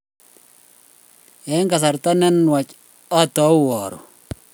eng kasarta ne nuach ataoy aruu